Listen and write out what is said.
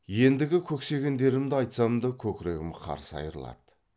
ендігі көксегендерімді айтсам да көкірегім қарс айрылады